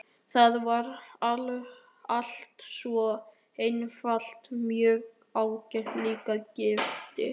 Það var allt svo einfalt hjá Michael, líka gifting.